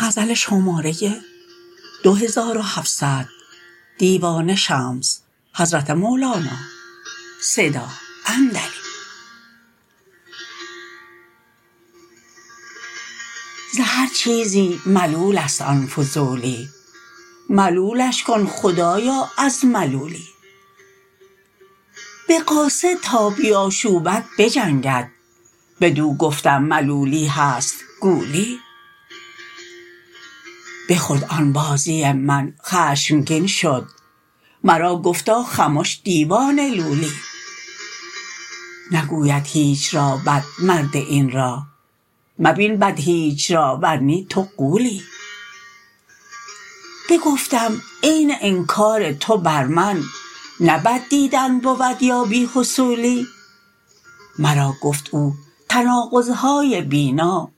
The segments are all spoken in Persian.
ز هر چیزی ملول است آن فضولی ملولش کن خدایا از ملولی به قاصد تا بیاشوبد بجنگد بدو گفتم ملولی هست گولی بخورد آن بازی من خشمگین شد مرا گفتا خمش دیوانه لولی نگوید هیچ را بد مرد این راه مبین بد هیچ را ور نی تو غولی بگفتم عین انکار تو بر من نه بد دیدن بود یا بی حصولی مرا گفت او تناقض های بینا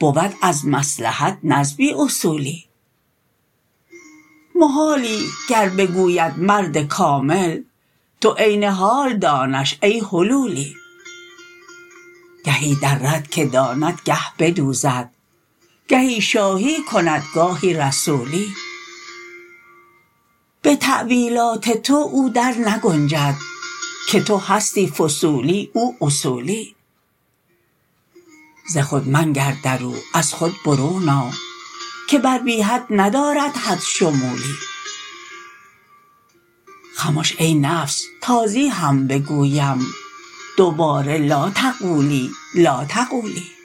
بود از مصلحت نه از بی اصولی محالی گر بگوید مرد کامل تو عین حال دانش ای حلولی گهی درد که داند گه بدوزد گهی شاهی کند گاهی رسولی به تأویلات تو او درنگنجد که تو هستی فصولی او اصولی ز خود منگر در او از خود برون آ که بر بی حد ندارد حد شمولی خمش ای نفس تازی هم بگویم دوباره لا تقولی لا تقولی